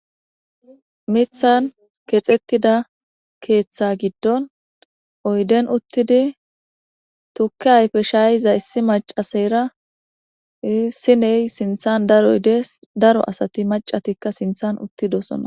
mithan kexettida keeththa giddon oyden uttidi tuki ayfe shayiza issi macasayra siney sinthan daroyde daro asati macatikka sinthan uttidosona